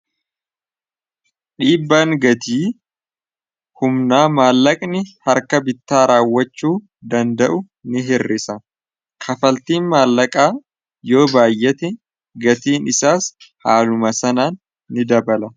dhiibbaan gatii humnaa maallaqni harka bittaa raawwachuu danda'u ni hirrisa kafaltiin maallaqaa yoo baayyate gatiin isaas haaluma sanaan ni dabala